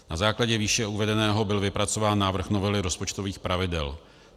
Na základě výše uvedeného byl vypracován návrh novely rozpočtových pravidel.